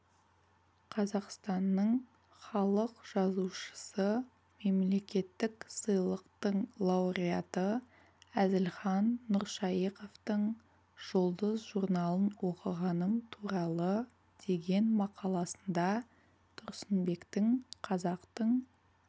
қазақстанның халық жазушысы мемлекеттік сыйлықтың лауреаты әзілхан нұршайықовтың жұлдыз журналын оқығаным туралы деген мақаласында тұрсынбектің қазақтың